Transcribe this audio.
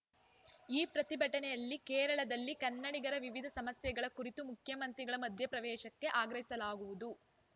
ಈ ಪ್ರತಿಟನೆಯಲ್ಲಿ ಕೇರಳದಲ್ಲಿ ಕನ್ನಡಿಗರ ವಿವಿಧ ಸಮಸ್ಯೆಗಳ ಕುರಿತೂ ಮುಖ್ಯಮಂತ್ರಿಗಳ ಮಧ್ಯಪ್ರವೇಶಕ್ಕೆ ಆಗ್ರಹಿಸಲಾಗುವುದು